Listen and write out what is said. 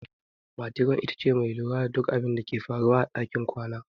Metiron ita ce mai lura da duk abinda ke faruwa a ɗakin kwana.